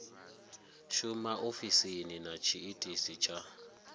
shuma ofisini na tshiitisi tsha